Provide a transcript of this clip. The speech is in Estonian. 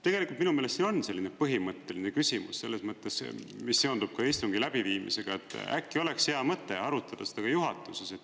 Tegelikult minu meelest see on selline põhimõtteline küsimus selles mõttes, mis seondub ka istungi läbiviimisega, et äkki oleks hea mõte arutada seda ka juhatuses.